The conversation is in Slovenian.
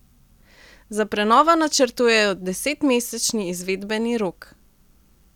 Za prenovo načrtujejo desetmesečni izvedbeni rok.